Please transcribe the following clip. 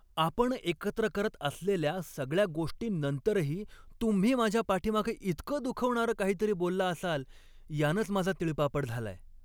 आपण एकत्र करत असलेल्या सगळ्या गोष्टींनंतरही तुम्ही माझ्या पाठीमागे इतकं दुखवणारं काहीतरी बोलला असाल यानंच माझा तिळपापड झालाय.